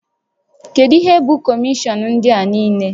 Kedu ihe bụ kọmishọn ndị a niile?